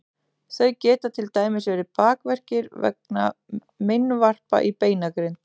þau geta til dæmis verið bakverkir vegna meinvarpa í beinagrind